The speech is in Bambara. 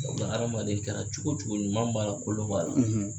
Ɔ nka adamaden kɛra cogo cogo ɲuman b'a la kolonba la